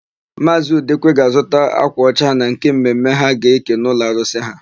Maazị Udekwe ga-azụta ákwà ọcha na nke mme mme ha ga-eke n'ụlọarụsị ha.